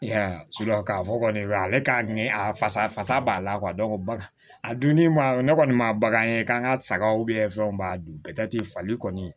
I y'a ye k'a fɔ kɔni ale ka ɲɛ a fasa fasa b'a la bagan a dunni ma ne kɔni ma bagan ye k'an ka sagaw fɛnw b'a dun fali kɔni